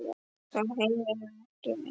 Þá heyrir hann ekki vel.